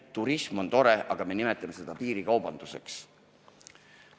Turism on tore, aga me nimetame seda piirikaubanduseks.